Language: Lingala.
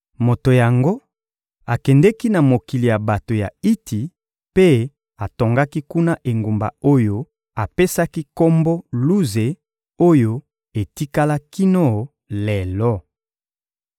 Moto yango akendeki na mokili ya bato ya Iti mpe atongaki kuna engumba oyo apesaki kombo «Luze» oyo etikala kino lelo.